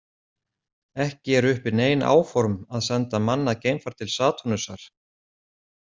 Ekki eru uppi nein áform að senda mannað geimfar til Satúrnusar.